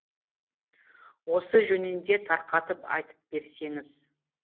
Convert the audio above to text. осы жөнінде тарқатып айтып берсеңіз